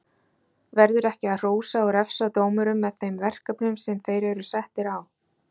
Verður ekki að hrósa og refsa dómurum með þeim verkefnum sem þeir eru settir á?